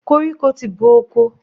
Koríko ti bo oko.